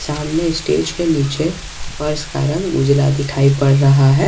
सामने स्टेज के नीचे फर्श का रंग उजाला दिखाई पड़ रहा है।